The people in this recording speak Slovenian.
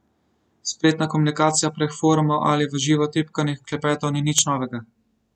Spletna komunikacija prek forumov ali v živo tipkanih klepetov ni nič novega.